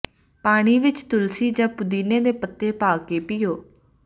ਪਾਣੀ ਵਿਚ ਤੁਲਸੀ ਜਾਂ ਪੁਦੀਨੇ ਦੇ ਪੱਤੇ ਪਾ ਕੇ ਪੀਓ